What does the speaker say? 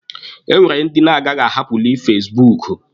E nwere ndị na-agaghi ahapụli fasibuuku.